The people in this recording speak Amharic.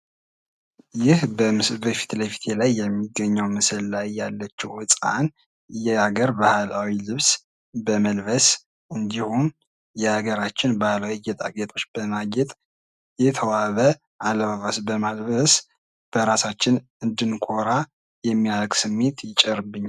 ይህ በምስሉ ላይ ከፊት ለፊቴ ምስል ላይ የሚገኘው ምስል ላይ ያለችው ህጻን የሀገር ባህላዊ ልብስ በመልበስ እንዲሁም የሀገራችን ባህል እና ጌጣጌጦች በማጌጥ የተዋበ አልባስ በማልበስ በራሳችን እንድንኮራ የሚያደርግ ስሜት ይጭርብናል።